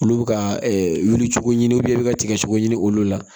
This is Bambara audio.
Olu bɛ ka wuli cogo ɲini i bɛ ka tigɛ cogo ɲini olu la